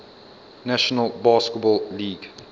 national basketball league